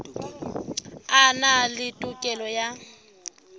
a na le tokelo ya